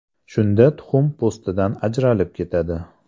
Shunda tuxum po‘stidan ajralib ketadi.